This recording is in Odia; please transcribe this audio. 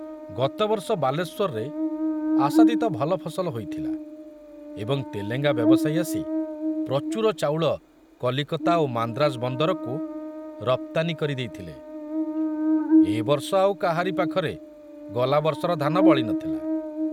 ଗତବର୍ଷ ବାଲେଶ୍ବରରେ ଆଶାତୀତ ଭଲ ଫସଲ ହୋଇଥିଲା ଏବଂ ତେଲେଙ୍ଗା ବ୍ୟବସାୟୀ ଆସି ପ୍ରଚୁର ଚାଉଳ କଲିକତା ଓ ମାନ୍ଦ୍ରାଜ ବନ୍ଦରକୁ ରପ୍ତାନୀ କରି ଦେଇଥିଲେ, ଏ ବର୍ଷ ଆଉ କାହାରି ପାଖରେ ଗଲାବର୍ଷର ଧାନ ବଳି ନଥିଲା।